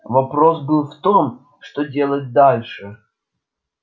вопрос был в том что делать дальше